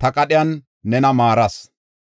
ta qadhiyan nena maaras.